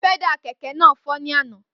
Pẹ́dà kẹ̀kẹ́ náà fọ́ ní àná